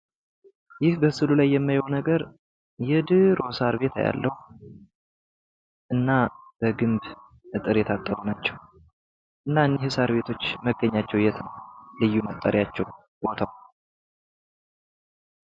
ይህ በስዕሉ ላይ የማየው ነገር የድሮ ሳር ቤት አያለሁ። እና በግንብ አጥር የታጠሩ ናቸው። እና እኒህ ሳር ቤቶች መገኛቸው የት ነው? ልዩ መጣሪያቸው ስሙ?